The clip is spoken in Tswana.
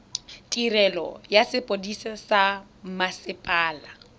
tirelo ya sepodisi sa mmasepala